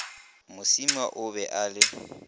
mosima o be a le